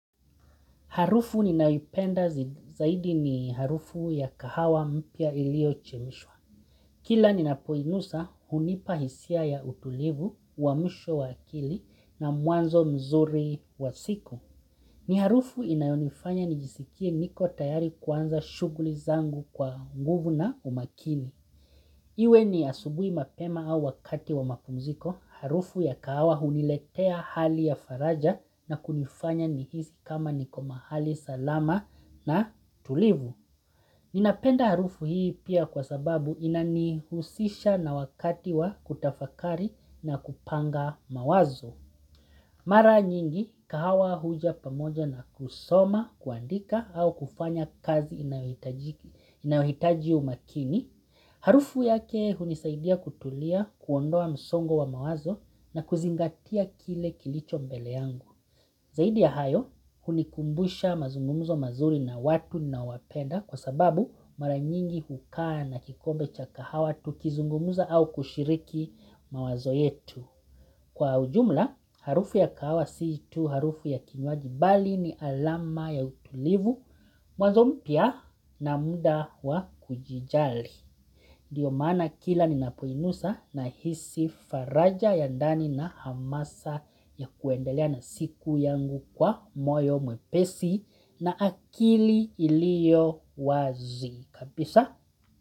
Harufu ninayoipenda zaidi ni harufu ya kahawa mpya iliyochemshwa. Kila ninapoinusa hunipa hisia ya utulivu, uhamisho wa akili na mwanzo mzuri wa siku. Ni harufu inayonifanya nijisikie niko tayari kuanza shuguli zangu kwa nguvu na umakini. Iwe ni asubuhi mapema au wakati wa mapumziko, harufu ya kahawa huniletea hali ya faraja na kunifanya nihisi kama niko hali salama na tulivu. Ninapenda harufu hii pia kwa sababu inanihusisha na wakati wa kutafakari na kupanga mawazo. Mara nyingi kahawa huja pamoja na kusoma kuandika au kufanya kazi inayohitaji umakini. Harufu yake hunisaidia kutulia kuondoa msongo wa mawazo na kuzingatia kile kilicho mbele yangu. Zaidi ya hayo hunikumbusha mazungumzo mazuri na watu na wapenda kwa sababu mara nyingi hukaa na kikombe cha kahawa tukizungumza au kushiriki mawazo yetu. Kwa ujumla, harufu ya kahawa si tu harufu ya kinywaji bali ni alama ya utulivu, mwanzo mpya na muda wa kujijali. Ndio maana kila ninapoinusa nahisi faraja ya ndani na hamasa ya kuendelea na siku yangu kwa moyo mwepesi na akili ilio wazi. Kabisa.